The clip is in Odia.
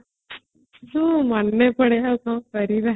ଯୋଉ ମନେ ପଡେ ଆଉ କ'ଣ କରିବା